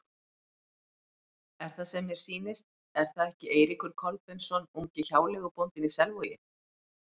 Er það sem mér sýnist, er það ekki Eiríkur Kolbeinsson, ungi hjáleigubóndinn í Selvogi?